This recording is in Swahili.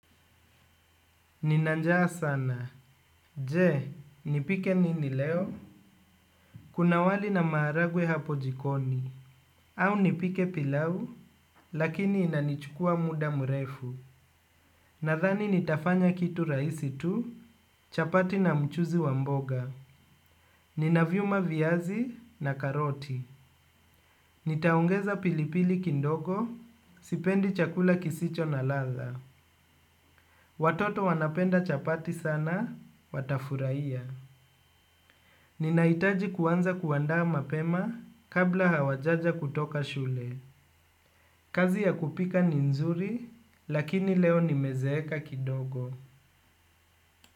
Nina njaa sana. Je, nipike nini leo? Kuna wali na maharagwe hapo jikoni. Au nipike pilau, lakini inanichukua muda mrefu. Nadhani nitafanya kitu rahisi tu, chapati na mchuzi wa mboga. Ninaviuma viazi na karoti. Nitaongeza pilipili kidogo, sipendi chakula kisicho na ladha. Watoto wanapenda chapati sana, watafurahia. Ninahitaji kuanza kuandaa mapema kabla hawajaja kutoka shule. Kazi ya kupika ni nzuri lakini leo nimezeeka kidogo.